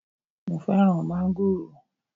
Mo fẹ́ràn mángòrò